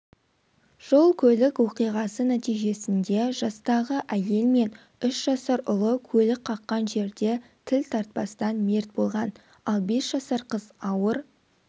жол-көлік оқиғасы нәтижесінде жастағы әйел мен үш жасар ұлы көлік қаққан жерде тіл тартпастан мерт болған ал бес жасар қыз ауыр